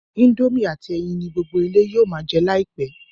Indomie àti ẹyin ni gbogbo ilé yóò ma jẹ láìpẹ́